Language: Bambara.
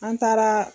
An taara